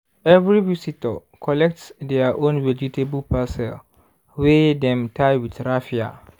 every visitor collect their own vegetable parcel wey dem tie with raffia.